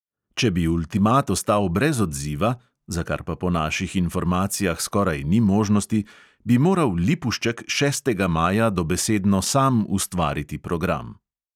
Če bi ultimat ostal brez odziva (za kar pa po naših informacijah skoraj ni možnosti), bi moral lipušček šestega maja dobesedno sam ustvariti program.